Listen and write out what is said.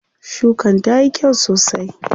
Shukan tayi kyau sosai.